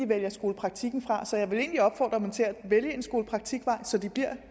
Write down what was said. vælger skolepraktikken fra så jeg vil egentlig opfordre dem til at vælge en skolepraktikvej så de bliver